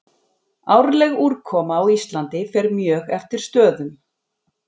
Árleg úrkoma á Íslandi fer mjög eftir stöðum.